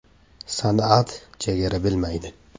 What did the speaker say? “San’at chegara bilmaydi.